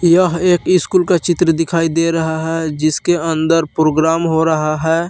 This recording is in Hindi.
यह एक स्कूल का चित्र दिखाई दे रहा है जिसके अंदर प्रोग्राम हो रहा है।